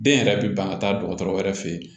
Den yɛrɛ bɛ ban ka taa dɔgɔtɔrɔ wɛrɛ fɛ yen